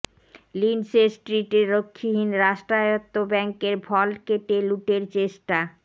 Lindsay স্ট্রিটে রক্ষীহীন রাষ্ট্রায়ত্ত ব্যাঙ্কের ভল্ট কেটে লুটের চেষ্টা